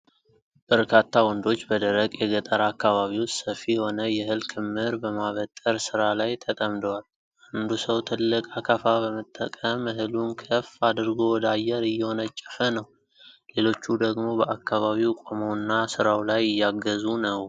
በርካታ ወንዶች በደረቅ የገጠር አካባቢ ውስጥ ሰፊ የሆነ የእህል ክምር በማበጠር ሥራ ላይ ተጠምደዋል። አንዱ ሰው ትልቅ አካፋ በመጠቀም እህሉን ከፍ አድርጎ ወደ አየር እየወነጨፈ ነው፣ ሌሎቹ ደግሞ በአካባቢው ቆመውና ሥራው ላይ እያገዙ ነው።